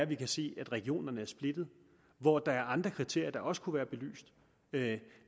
vi kan se at regionerne er splittet hvor der er andre kriterier der også kunne være blevet belyst det